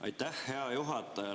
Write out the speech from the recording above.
Aitäh, hea juhataja!